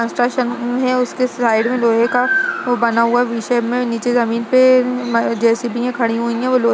Construction है उसके side मे लोहे का वो बना हुआ है विषय मे नीचे जमीन पे जे.सी.बी.यां खड़ी हुई हैं । वो लो --